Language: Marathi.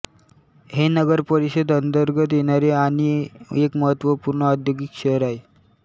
हे नगरपरिषद अंतर्गत येणारे आणी एक महत्वपूर्ण औद्योगिक शहर आहे